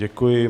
Děkuji.